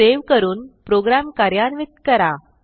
save करून program कार्यान्वित करा